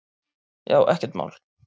Já, ekkert mál!